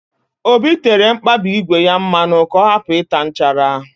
Obi tere mkpabi ígwè ya mmanụ ka ọ hapụ ịta nchara